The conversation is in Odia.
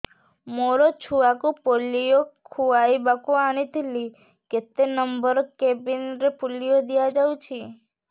ମୋର ଛୁଆକୁ ପୋଲିଓ ଖୁଆଇବାକୁ ଆଣିଥିଲି କେତେ ନମ୍ବର କେବିନ ରେ ପୋଲିଓ ଦିଆଯାଉଛି